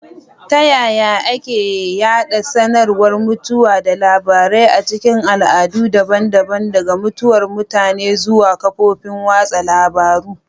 Ta yaya ake yada sanarwar mutuwa da labarai a cikin al'adu daban-daban—daga mutuwar mutane zuwa kafofin watsa labarun—?